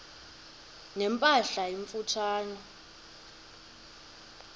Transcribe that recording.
ne mpahla emfutshane